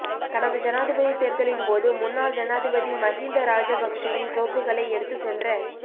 கடந்த ஜனாதிபதி தேர்தலின் போது முன்னாள் ஜனாதிபதி மஹிந்த ராஜபக்ஷவின் கோப்புகளை எடுத்து சென்ற